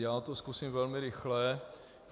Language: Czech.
Já to zkusím velmi rychle.